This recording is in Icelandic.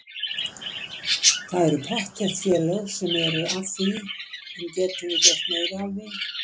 Það eru pottþétt félög sem eru að því en getum við gert meira af því?